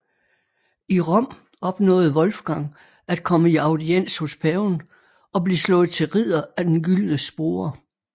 I Rom opnåede Wolfgang at komme i audiens hos paven og blive slået til ridder af den gyldne spore